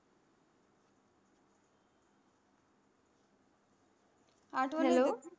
आठवण येतेच hello.